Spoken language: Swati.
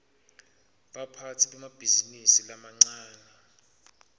baphatsi bemabhizinisi lamancane